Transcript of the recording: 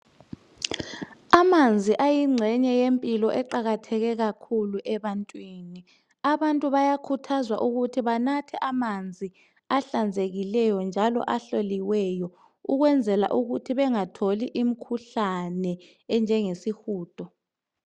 Amanzi ayingxenye yempilo eqakatheke kakhulu ebantwini. Abantu bayakhuthazwa ukuthi banathe amanzi ahlanzekileyo njalo ahloliweyo ukwenzela ukuthi bengatholi imkhuhlane enjengesihudo.